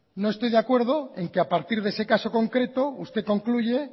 no estoy de acuerdo en que a partir de ese caso concreto usted concluye